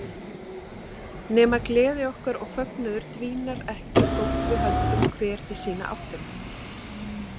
Nema gleði okkar og fögnuður dvínar ekki þótt við höldum hver í sína áttina.